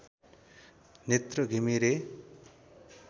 Netra Ghimire